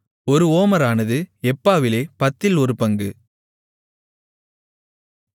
ஒரு ஓமரானது எப்பாவிலே பத்தில் ஒரு பங்கு